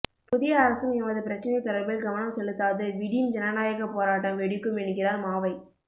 புதிய அரசும் எமது பிரச்சினை தொடர்பில் கவனம் செலுத்தாது விடின் ஜனநாயகப் போராட்டம் வெடிக்கும் என்கிறார் மாவை